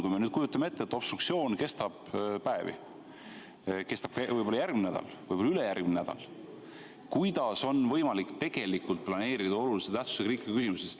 Kui me nüüd kujutame ette, et obstruktsioon kestab päevi, see kestab võib-olla järgmine nädal ja võib-olla ka ülejärgmine nädal, siis kuidas on võimalik tegelikult planeerida olulise tähtsusega riiklikku küsimust?